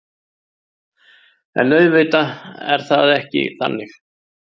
En auðvitað er það ekki þannig